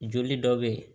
Joli dɔ be yen